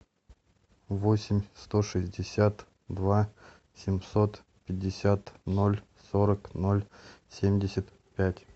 восемь сто шестьдесят два семьсот пятьдесят ноль сорок ноль семьдесят пять